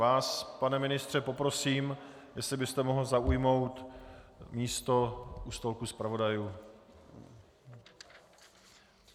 Vás, pane ministře, poprosím, jestli byste mohl zaujmout místo u stolku zpravodajů.